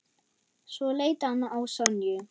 Svo leit hann á Sonju.